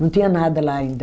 Não tinha nada lá ainda.